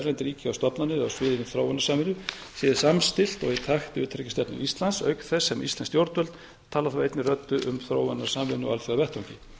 erlend ríki og stofnanir á sviði þróunarsamvinnu séu samstillt og í takt við utanríkisstefnu íslands auk þess sem íslensk stjórnvöld tala þá einni röddu um þróunarsamvinnu á alþjóðavettvangi